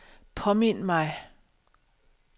påmind mig